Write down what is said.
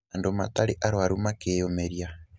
Andũ matarĩ arwaru makĩyumĩria